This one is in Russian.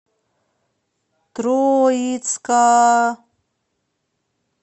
троицка